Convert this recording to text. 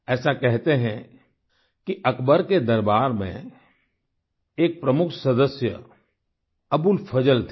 ऐसा कहते हैं कि अकबर के दरबार में एक प्रमुख सदस्य अबुल फजल थे